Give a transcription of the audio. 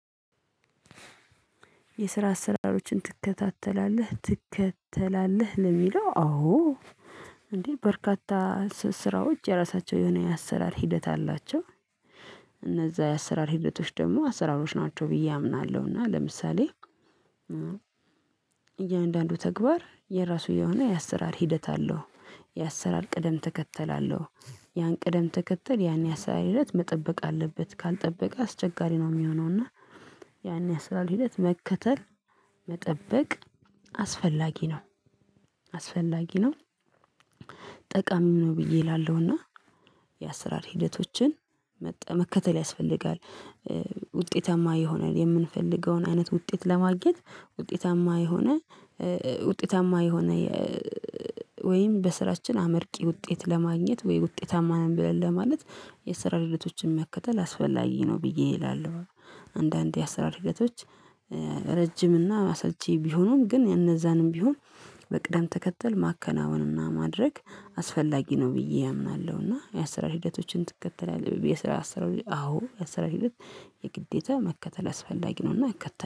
የስራ አሰራራዎችን ትከታተላለህ ትከተላለህ ለምለው አዎ እንዴ በርካታ ስራዎች የራሳቸው የሆነ የአሰራር ሂደት አላቸው። እነዛ የአሰራር ህደቶች ደግሞ አሰራሮች ናቸው ብዬ አምናለሁ። እና ለምሳሌ እያንዳንዱ ተግባር የራሱ የሆነ የአሰራር ሂደት አለው። የአሰራር ቅደም ተከተል አለው። ያን ቅደም ትከተል ያን የስራ ሂደት መጠበቅ አለበት ካልጠበቀ አስቸጋሪ ነው የሚሆነው። እና ያን ያሰራር ሂደት መከተል መጠበቅ አስፈላጊ ነው። አስፈላጊ ነው ጠቃሚው ነው ብዬ እላለሁና። የአሰራር ሂደቶችን መከተል ያስፈልጋል። ውጤታማ ይሆናል የምንፈልገውን አይነት ውጤት ለማግኘት ውጤታማ የሆነ ውጤታማ የሆነ ወይም በስራችን አመርቂ ውጤት ለማግኘት ወይ ውጤታማ ነን ብለህ ማለት የስራ ሂደቶችን መከተል አስፈላጊ ነው ብዬ እላለሁ። አንዳንዴ የአሰራር ሂደቶች ረጅም እና አሰልች ቢሆኑም ግን እነዛንም ቢሆን በቅደም ተከተል ማከናወን እና ማድረግ አስፈላጊ ነው ብዬ አምናለሁ። እና የአሰራር ሂደቶችን ትከተላለህ አሰራር አዎ የአሰራር ሂደት የግዴታ መከተል አስፈላጊ ነውና እከተለ